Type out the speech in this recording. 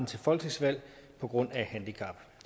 til folketingsvalg på grund af handicap